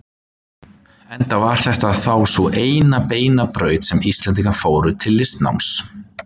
Enda var þetta þá sú eina beina braut sem Íslendingar fóru til listnáms.